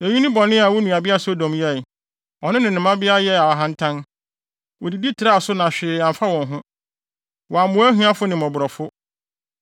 “ ‘Eyi ne bɔne a wo nuabea Sodom yɛe: Ɔno ne ne mmabea yɛɛ ahantan, wodidi traa so na hwee amfa wɔn ho, wɔammoa ahiafo ne mmɔborɔfo.